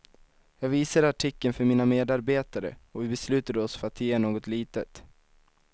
Jag visade artikeln för mina medarbetare och vi beslutade oss för att ge något litet.